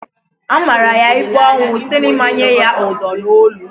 A mara ya ikpe ọnwụ site n'ịmanye ya Udo na onu